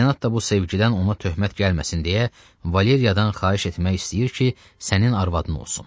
Senat da bu sevgidən ona töhmət gəlməsin deyə Valeriyadan xahiş etmək istəyir ki, sənin arvadın olsun.